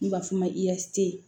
N b'a f'o ma